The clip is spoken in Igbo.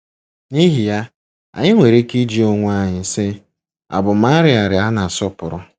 N'ihi ya, anyị nwere ike ịjụ onwe anyị, sị: 'Àbụ m 'arịa 'arịa a na-asọpụrụ'?